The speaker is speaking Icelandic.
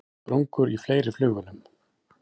Sprungur í fleiri flugvélum